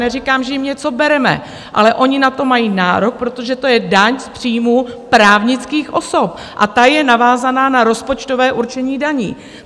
Neříkám, že jim něco bereme, ale ony na to mají nárok, protože to je daň z příjmů právnických osob a ta je navázána na rozpočtové určení daní.